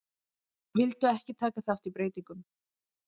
Vildu ekki taka þátt í breytingum